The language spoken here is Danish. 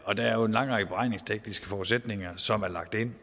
og der er jo en lang række beregningstekniske forudsætninger som er lagt ind